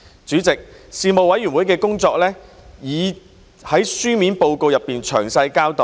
主席，事務委員會的工作已在書面報告中詳細交代。